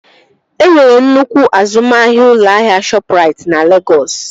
E nwere nnukwu azụmahịa ụlọ ahịa Shọpụrait na Legọs